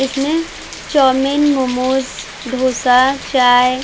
इसमे चाउमीन मोमोस डोसा चाय --